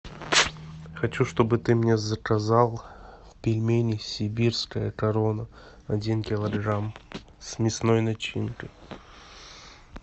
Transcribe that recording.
хочу чтобы ты мне заказал пельмени сибирская корона один килограмм с мясной начинкой